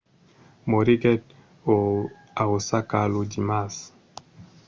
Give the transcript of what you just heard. moriguèt a osaka lo dimars